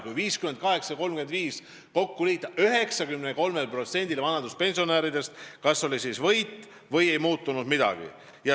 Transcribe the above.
Kui 58 ja 35 kokku liita, siis selgub, et 93% vanaduspensionäridest kas võitis või ei muutunud neil mitte midagi.